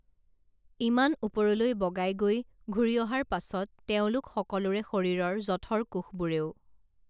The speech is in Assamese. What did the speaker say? ইমান ওপৰলৈ বগাই গৈ ঘূৰি অহাৰ পাছত তেওঁলোক সকলোৰে শৰীৰৰ জঠৰ কোষবোৰেও